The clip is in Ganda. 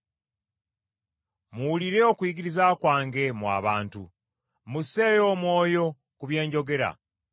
Muwulire okuyigiriza kwange mmwe abantu bange, musseeyo omwoyo ku bye njogera.